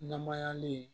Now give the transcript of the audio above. Namayalen